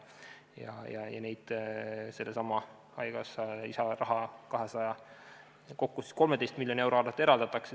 Seda kõike eraldatakse sellestsamast haigekassa lisarahast, kokku 13 miljoni euro arvel.